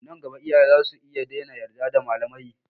Nan gaba iyaye zasu iya daina yarda da malamai.